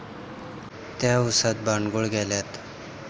त्या उसात बांडगुळ गेल्यात